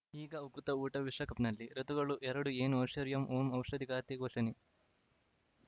ಈಗ ಉಕುತ ಊಟ ವಿಶ್ವಕಪ್‌ನಲ್ಲಿ ಋತುಗಳು ಎರಡು ಏನು ಐಶ್ವರ್ಯಾ ಓಂ ಔಷಧಿ ಖಾತೆ ಘೋಷಣೆ